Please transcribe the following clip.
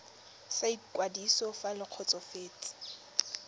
sa ikwadiso fa le kgotsofetse